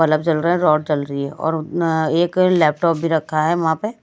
bulb जल रहा है रोड जल रही है और अ एक लैपटॉप भी रखा है वहां पे--